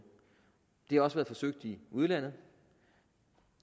det har også været forsøgt i udlandet